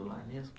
Do lar mesmo?